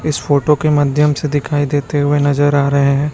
इस फोटो के माध्यम से दिखाई देते हुए नजर आ रहे हैं।